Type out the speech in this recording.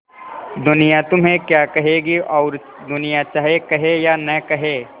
दुनिया तुम्हें क्या कहेगी और दुनिया चाहे कहे या न कहे